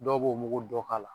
Dɔw b'o muku dɔ k'a la.